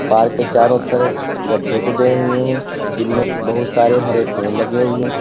park के चारों तरफ गड्ढे खुदे हुए हैं जिनमें बोहोत सारे हरे पेड़ लगे हुए --